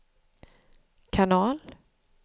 kanal